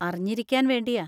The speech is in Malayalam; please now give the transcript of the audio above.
അറിഞ്ഞിരിക്കാൻ വേണ്ടിയാ.